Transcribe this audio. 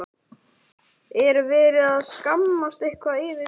Er verið að skammast eitthvað yfir því?